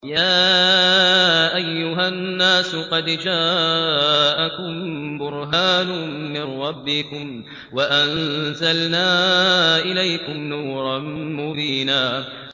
يَا أَيُّهَا النَّاسُ قَدْ جَاءَكُم بُرْهَانٌ مِّن رَّبِّكُمْ وَأَنزَلْنَا إِلَيْكُمْ نُورًا مُّبِينًا